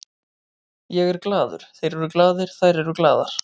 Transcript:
Ég er glaður, þeir eru glaðir, þær eru glaðar.